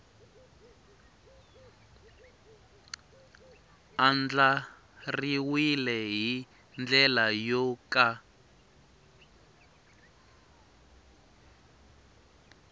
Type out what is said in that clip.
andlariwile hi ndlela yo ka